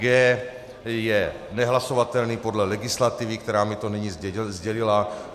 G je nehlasovatelný podle legislativy, která mi to nyní sdělila.